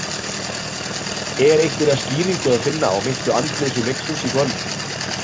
Er einhverja skýringu að finna á meintu andleysi Leiknis í kvöld?